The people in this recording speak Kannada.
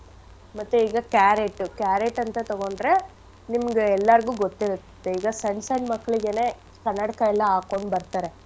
ಮತ್ತೆ ಈಗ carrot ಉ carrot ಅಂತ ತೊಗೊಂಡ್ರೆ ನಿಮ್ಗೆ ಎಲ್ಲಾರ್ಗು ಗೊತ್ತಿರತ್ತೆ ಈಗ ಸಣ್ ಸಣ್ ಮಕ್ಳಿಗೆನೇ ಕನ್ನಡಕ ಎಲ್ಲಾ ಹಾಕೋಂಡ್ ಬರ್ತರೆ.